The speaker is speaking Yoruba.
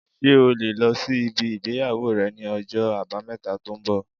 Ṣé o lè lọ sí ibi ìgbéyàwó rẹ ní ọjọ́ àbámẹ̀ta tó ń bọ̀